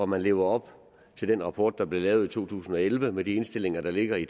man lever op til den rapport der blev lavet i to tusind og elleve med de indstillinger der ligger i